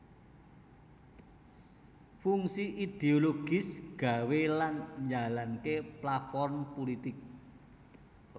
Fungsi idiologis gawé lan njalanké platform pulitik